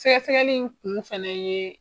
Sɛgɛ sɛgɛli in kun fɛnɛ ye